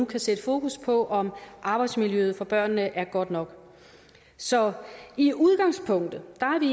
kan sætte fokus på om arbejdsmiljøet for børnene er godt nok så i udgangspunktet